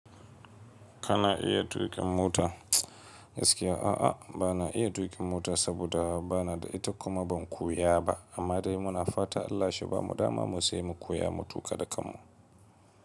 Kana iya tuƙin mota? Gaskiya a'a bana iya tuƙin mota saboda bana da ita kuma ban koya ba amma dai muna fata Allah shi bamu dama mu siya mu koya mu tuƙa da kanmu.